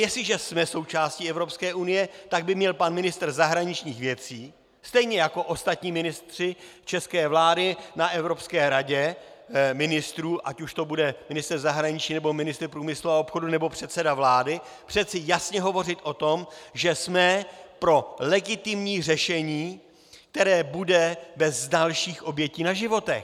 Jestliže jsme součástí Evropské unie, tak by měl pan ministr zahraničních věcí stejně jako ostatní ministři české vlády na Evropské radě ministrů, ať už to bude ministr zahraničí, nebo ministr průmyslu a obchodu, nebo předseda vlády, přece jasně hovořit o tom, že jsme pro legitimní řešení, které bude bez dalších obětí na životech.